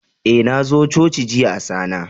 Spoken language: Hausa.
Eh, na zo coci jiya Asana.